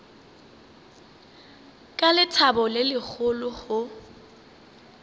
ka lethabo le legolo go